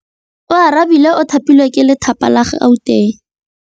Oarabile o thapilwe ke lephata la Gauteng.